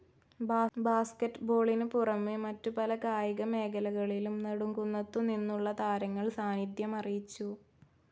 ബാസ്കറ്റ്ബോളിനു പുറമേ മറ്റു പല കായിക മേഖലകളിലും നെടുംകുന്നത്തുനിന്നുള്ള താരങ്ങൾ സാനിദ്ധ്യമറിയിച്ചു.